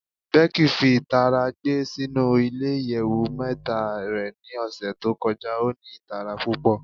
Becky fi itara gbe sinu ile iyẹwu mẹta rẹ ni ọsẹ to kọja o ni itara pupọ